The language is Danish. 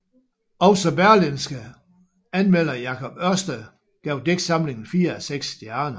Også Berlingskes anmelder Jacob Ørsted gav digtsamlingen fire af seks stjerner